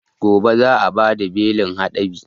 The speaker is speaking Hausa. Gobe za a bada belin haɗabi